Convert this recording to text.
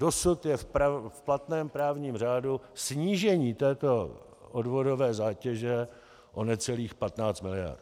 Dosud je v platném právním řádu snížení této odvodové zátěže o necelých 15 miliard.